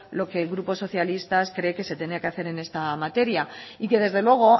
lo que el grupo socialista cree que se tiene que hacer en esta materia y que desde luego